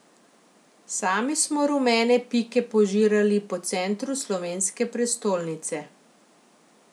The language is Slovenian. Sami smo rumene pike požirali po centru slovenske prestolnice.